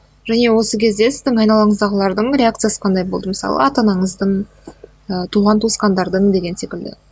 және осы кезде сіздің айналаңыздағылардың реакциясы қандай болды мысалы ата анаңыздың ыыы туған туысқандардың деген секілді